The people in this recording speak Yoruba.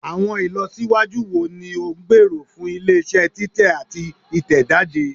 Awọn ilọsiwaju wo ni o ngbero fun ile-iṣẹ titẹ ati titẹjade?